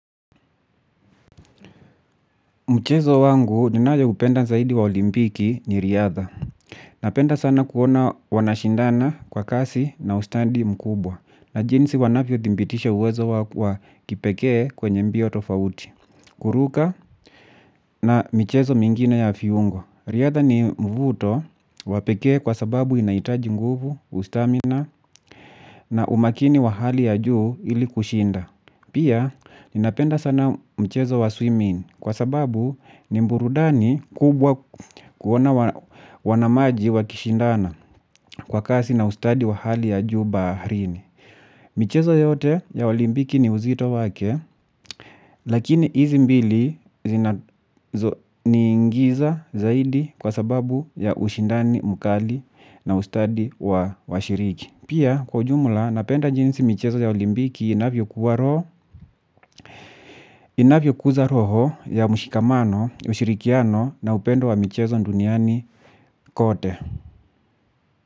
Mchezo wangu ninayo upenda zaidi wa olimpiki ni riadha. Napenda sana kuona wanashindana kwa kasi na ustadi mkubwa. Na jinsi wanavyo thimbitisha uwezo wa kipekee kwenye mbio tofauti. Kuruka na michezo mingine ya fiungo riadha ni mvuto wapekee kwa sababu inaitaji nguvu, ustamina. Na umakini wa hali ya juu ili kushinda. Pia ninapenda sana mchezo wa swimming. Kwa sababu ni mburudani kubwa kuona wanamaji wa kishindana kwa kasi na ustadi wa hali ya juu baharini. Michezo yote ya olimbiki ni uzito wake, lakini izi mbili zinazo niingiza zaidi kwa sababu ya ushindani mkali na ustadi wa washiriki. Pia kwa jumla napenda jinsi michezo ya olimbiki inavyokuwa raw inavyo kuza roho ya mshikamano, ushirikiano na upendo wa michezo nduniani kote.